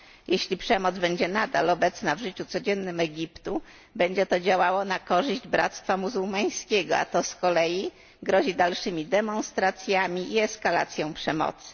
Jeśli przemoc będzie nadal obecna w życiu codziennym Egiptu, będzie to działało na korzyść Bractwa Muzułmańskiego, a to z kolei grozi dalszymi demonstracjami i eskalacją przemocy.